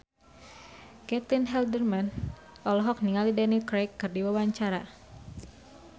Caitlin Halderman olohok ningali Daniel Craig keur diwawancara